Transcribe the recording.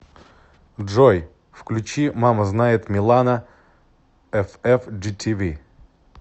джой включи мама знает милана эфэфджитиви